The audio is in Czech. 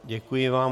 Děkuji vám.